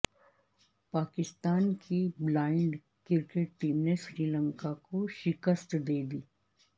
پاکستان کی blind cricket team نے سری لنکا کو شکست دے دی